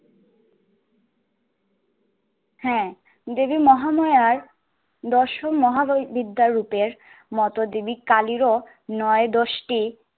হ্যা, দেবী মহামায়ার দর্শন মহাগয়ি বিদ্যার রূপের মতো দেবী কালিরও নয় দশটি